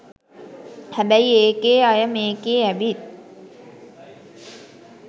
හැබැයි ඒකේ අය මේකේ ඇවිත්